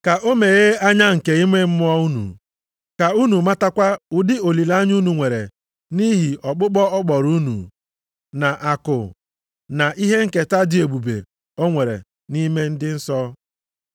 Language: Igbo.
ka o meghee anya nke ime mmụọ unu ka unu matakwa ụdị olileanya unu nwere nʼihi ọkpụkpọ ọ kpọrọ unu, na akụ, na ihe nketa dị ebube o nwere nʼime ndị nsọ.